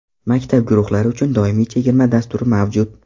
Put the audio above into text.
Maktab guruhlari uchun doimiy chegirma dasturi mavjud.